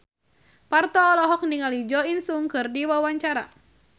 Parto olohok ningali Jo In Sung keur diwawancara